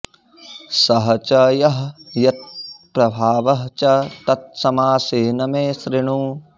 सः च यः यत्प्रभावः च तत् समासेन मे शृणु